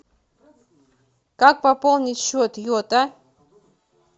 как пополнить счет йота